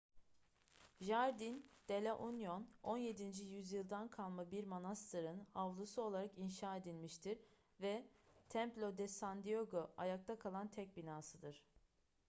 jardín de la unión 17. yüzyıldan kalma bir manastırın avlusu olarak inşa edilmiştir ve templo de san diego ayakta kalan tek binasıdır